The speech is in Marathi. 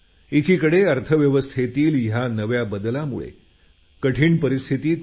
एकीकडे अर्थव्यवस्थेतील या नव्या बदलामुळे कठीण परिस्थिती आहे